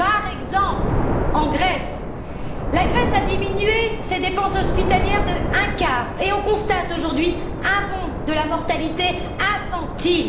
Par exemple, la Grèce a diminué ses dépenses hospitalières d'un quart, et on constate aujourd'hui un bond de la mortalité infantile.